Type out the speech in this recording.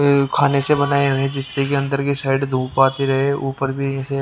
-- खाने से बनाए हुए जिससे कि अंदर की साइड धूप आती रहे ऊपर भी --